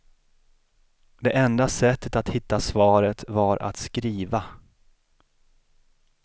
Det enda sättet att hitta svaret var att skriva.